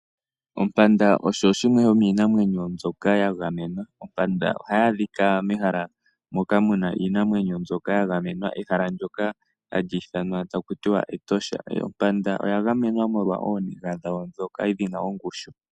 Ompanda osho shimwe shomiinamwenyo mbyoka ya gamwena. Ompanda ohaya adhika mehala moka mu na iinamwenyo mbyoka ya gamwena. Ehala ndyoka hali ithanwa taku tiwa Etosha. Ompanda oya gamenwa molwa ooniga dhayo ndhoka dhi na ongushu.